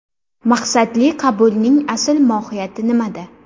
Maqsadli qabulning asl mohiyati nimada?